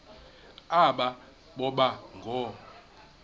aba boba ngoo